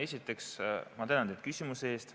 Esiteks, ma tänan küsimuse eest.